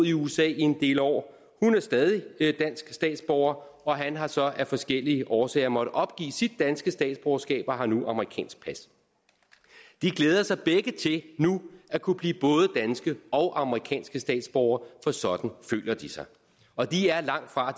i usa en del år hun er stadig dansk statsborger og han har så af forskellige årsager måttet opgive sit danske statsborgerskab og har nu amerikansk pas de glæder sig begge til nu at kunne blive både danske og amerikanske statsborgere for sådan føler de sig og de er langtfra